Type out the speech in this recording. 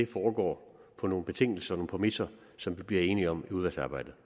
foregår på nogle betingelser og nogle præmisser som vi bliver enige om i udvalgsarbejdet